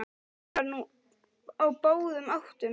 Hann var nú á báðum áttum.